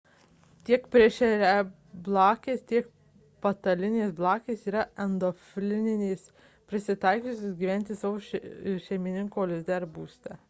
tiek plėšriablakės tiek patalinės blakės yra endofilinės prisitaikiusios gyventi savo šeimininko lizde ar būste